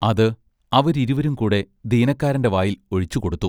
അതു അവരിരുവരും കൂടെ ദീനക്കാരന്റെ വായിൽ ഒഴിച്ചു കൊടുത്തു.